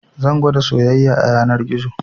Zan gwada soyayya a yanar gizo